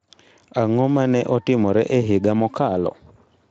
Ang'o ma ne otimore e higa mokalo?